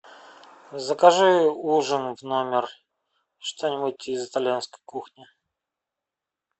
закажи ужин в номер что нибудь из итальянской кухни